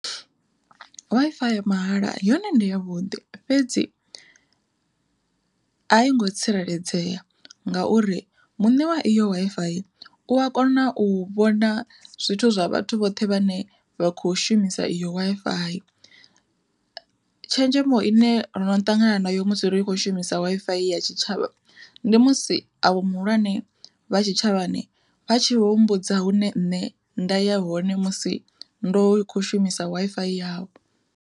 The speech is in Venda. Wi-Fi ya mahala yone ndi yavhuḓi fhedzi a i ngo tsireledzea, ngauri muṋe wa iyo Wi-Fi u a kona u vhona zwithu zwa vhathu vhoṱhe vhane vha kho shumisa iyo Wi-Fi. Tshenzhemo ine ndono ṱangana nayo musi ro i kho shumisa Wi-Fi ya tshitshavha, ndi musi avho muhulwane vha tshitshavhani vha tshi vho mbudza hune nṋe nda ya hoṋe musi ndo kho shumisa Wi-Fi yavho.